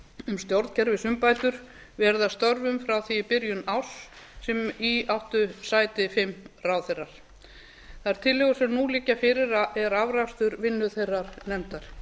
um stjórnkerfisumbætur verið að störfum frá því í byrjun árs sem í áttu sæti fimm ráðherrar þær tillögur sem nú liggja fyrir eru afrakstur vinnu þeirrar nefndar